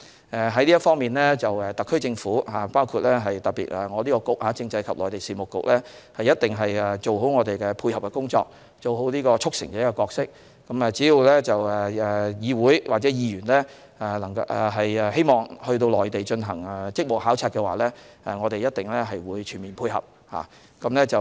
就此方面，特區政府，特別是政制及內地事務局，一定會做好我們的配合工作，做好"促成者"的角色，只要議會或議員希望到內地進行職務考察，我們一定全面配合。